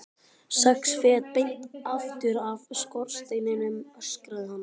Sex fet beint aftur af skorsteininum, öskraði hann.